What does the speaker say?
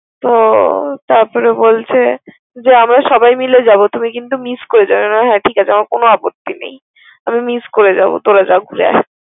তো তারপর বলছে আমরা সবাই মিলে যাব তুমি কিন্তু মিস করে যাবে। আমি বললাম হ্যা ঠিক আছে আমার কোন আপত্তি নাই। আমি মিস করে যাব তোরা যা ঘুরে আয়।